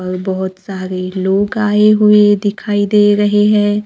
और बहुत सारे लोग आए हुए दिखाई दे रहे हैं।